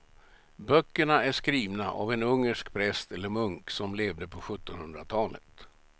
Böckerna är skrivna av en ungersk präst eller munk som levde på sjuttonhundratalet.